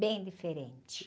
Bem diferente.